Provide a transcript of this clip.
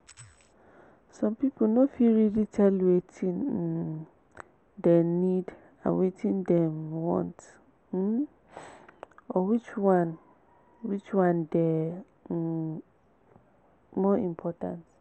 some pipo no fit really tell wetin um dem need and wetin dem want um or which one which one dey um more important